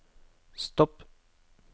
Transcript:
stopp